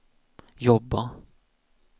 jobba